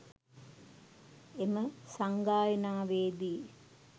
එම සංගායනාවේදී